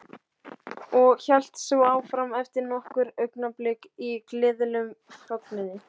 Og hélt svo áfram eftir nokkur augnablik í gleðilegum fögnuði